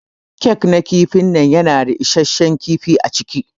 Kek na kifin nan yana da issashen kifi aciki.